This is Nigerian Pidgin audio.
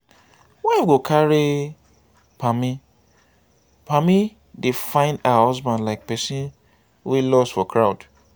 wife go carry pammy pammy dey find her husband like person wey loss for crowd